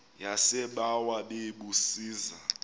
yasebawa bebu zisa